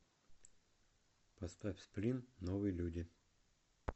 поставь сплин новые люди